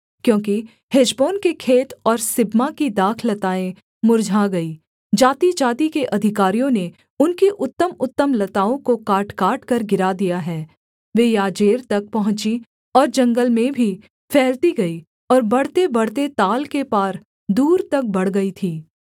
क्योंकि हेशबोन के खेत और सिबमा की दाखलताएँ मुर्झा गईं जातिजाति के अधिकारियों ने उनकी उत्तमउत्तम लताओं को काटकाटकर गिरा दिया है वे याजेर तक पहुँची और जंगल में भी फैलती गईं और बढ़तेबढ़ते ताल के पार दूर तक बढ़ गई थीं